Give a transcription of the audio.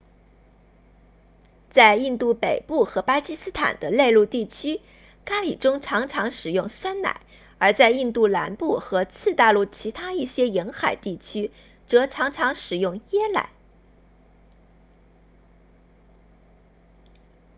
在印度北部和巴基斯坦的内陆地区咖喱中常常使用酸奶而在印度南部和次大陆其他一些沿海地区则常常使用椰奶